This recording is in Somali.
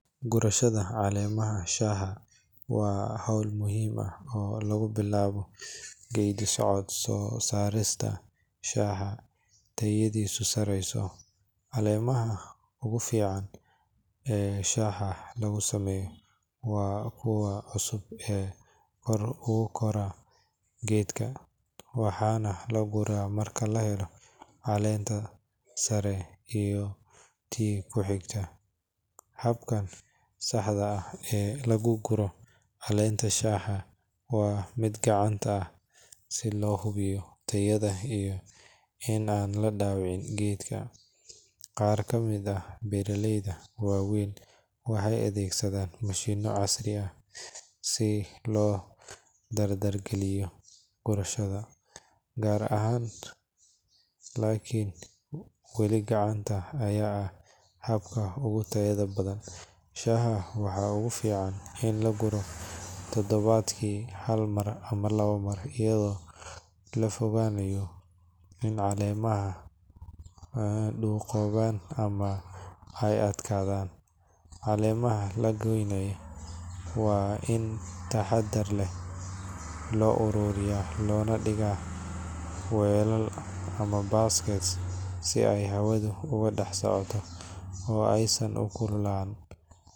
Gurashada caleemaha shaaha waa hawl muhiim ah oo lagu bilaabo geeddi-socodka soo saarista shaaha tayadiisu sarreyso. Caleemaha ugu fiican ee shaaha lagu sameeyo waa kuwa cusub ee kor ugu kora geedka, waxaana la guraa marka la helo caleenta sare iyo tii ku xigtay. Habka saxda ah ee loo guro caleenta shaaha waa mid gacanta ah si loo hubiyo tayada iyo in aan la dhaawicin geedka. Qaar ka mid ah beeraleyda waaweyn waxay adeegsadaan mashiinno casri ah si loo dardar geliyo gurashada, laakiin weli gacanta ayaa ah habka ugu tayada badan. Shaaha waxaa ugu fiican in la guro toddobaadkii hal mar ama laba mar iyadoo laga fogaado in caleemaha duqoobaan ama ay adkaadaan. Caleemaha la guranayo waa in si taxaddar leh loo ururiyaa loona dhigaa weelal ama baskets si ay hawadu uga dhex socoto oo aysan u kululaan.